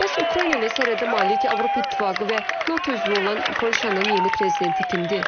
Bəs Ukrayna ilə sərhəddə malik Avropa İttifaqı və NATO üzvü olan Polşanın yeni prezidenti kimdir?